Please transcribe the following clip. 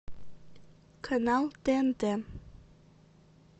канал тнт